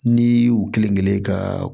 Ni u kelen kelen ka